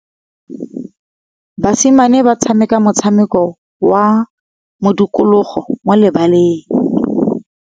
Basimane ba tshameka motshameko wa modikologô mo lebaleng.